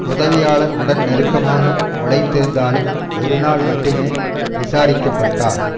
உதவியாளர் உடன் நெருக்கமாக உழைத்திருந்தாலும் ஒரு நாள் மட்டுமே விசாரிக்கப்பட்டார்